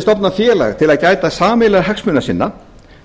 stofna félag til að gæta sameiginlegra hagsmuna sinna